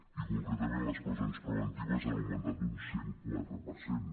i concretament les presons preventives han augmentat un cent i quatre per cent